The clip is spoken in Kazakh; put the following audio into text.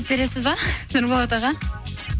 бересіз бе нұрболат аға